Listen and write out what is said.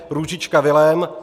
Růžička Vilém